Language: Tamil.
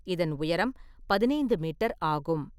இதன் உயரம் பதினைந்து மீட்டர் ஆகும்.